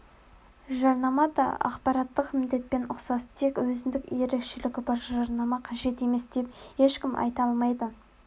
жарнама да ақпараттық міндетпен ұқсас тек өзіндік ерекшелігі бар жарнама қажет емес деп ешкім айта алмайды